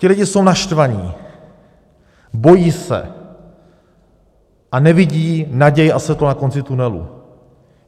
Ti lidé jsou naštvaní, bojí se a nevidí naději a světlo na konci tunelu.